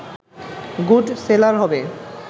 good seller হবে